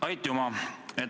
Aitüma!